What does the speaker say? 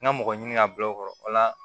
N ka mɔgɔ ɲini ka bila o kɔrɔ o la